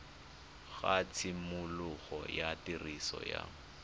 ga tshimologo ya tiriso ya